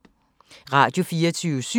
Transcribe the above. Radio24syv